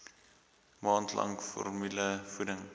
maand lank formulevoeding